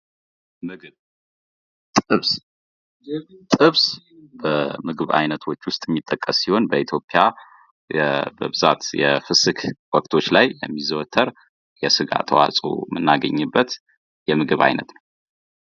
የምግብ አለርጂና አለመስማማት የተለመዱ ችግሮች ሲሆኑ የተወሰኑ ምግቦችን ከመመገብ መቆጠብን ይጠይቃሉ